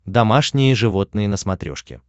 домашние животные на смотрешке